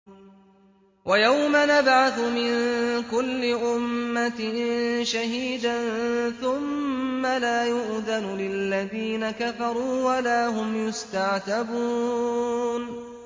وَيَوْمَ نَبْعَثُ مِن كُلِّ أُمَّةٍ شَهِيدًا ثُمَّ لَا يُؤْذَنُ لِلَّذِينَ كَفَرُوا وَلَا هُمْ يُسْتَعْتَبُونَ